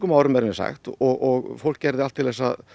árum er mér sagt og fólk gerði allt til að